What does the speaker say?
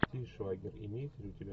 тиль швайгер имеется ли у тебя